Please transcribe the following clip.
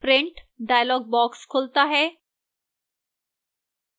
print dialog box खुलता है